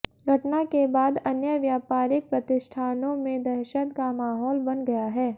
घटना के बाद अन्य व्यापारिक प्रतिष्ठानों में दहशत का माहौल बन गया है